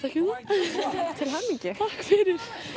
til hamingju takk fyrir